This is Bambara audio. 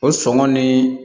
O sɔngɔ ni